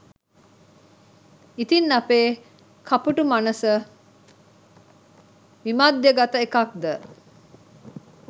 ඉතින් අපේ කපුටු මනස විමධ්‍යගත එකක්ද